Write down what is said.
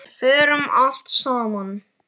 Við fórum allt saman.